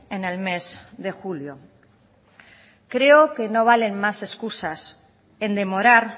en el mes de julio creo que no valen más excusas en demorar